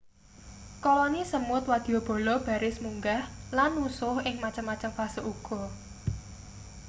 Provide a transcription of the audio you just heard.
koloni semut wadyabala baris munggah lan nusuh ing macem-macem fase uga